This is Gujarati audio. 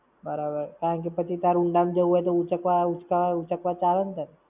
બરાબર. પછી તારે ઊંડા માં જવું હોય તો ઊંચકવા, ઊંચકાવા, ઊંચકવા તો આવે ને તને.